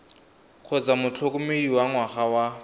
kgotsa motlhokomedi wa ngwana wa